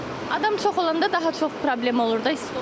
Adam çox olanda daha çox problem olur da isti olur.